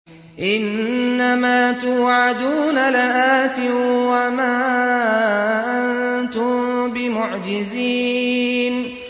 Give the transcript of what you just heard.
إِنَّ مَا تُوعَدُونَ لَآتٍ ۖ وَمَا أَنتُم بِمُعْجِزِينَ